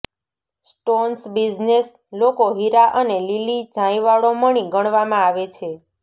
stones business લોકો હીરા અને લીલી ઝાંયવાળો મણિ ગણવામાં આવે છે